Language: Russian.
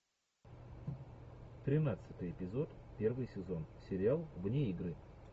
тринадцатый эпизод первый сезон сериал вне игры